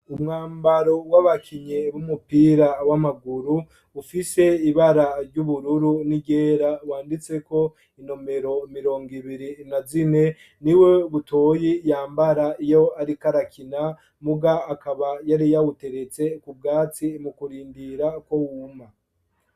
Umwambaro, w'abakinyi b'umupira w'amaguru, ufise ibara ry'ubururu, n'iryera, wanditseko, inomero mirongo ibiri na zine; ni wo Butoyi yambara, iyo ariko arakina, muga, akaba yari yawuteretse ku bwatsi, mu kurindira, ko wuma.